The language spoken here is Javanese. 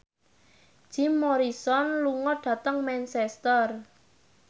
Jim Morrison lunga dhateng Manchester